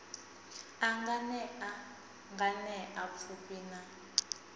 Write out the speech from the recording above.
a nganea nganea pfufhi na